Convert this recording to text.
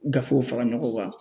Gafew fara ɲɔgɔn kan